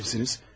Kimsiniz?